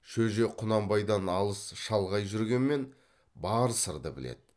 шөже құнанбайдан алыс шалғай жүргенмен бар сырды біледі